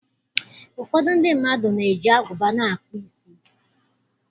Ụfọdụ ndị mmadụ na-eji agụba na-akpụ isi.